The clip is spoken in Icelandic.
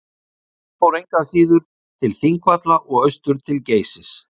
Hann fór engu að síður til Þingvalla og austur til Geysis.